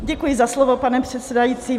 Děkuji za slovo, pane předsedající.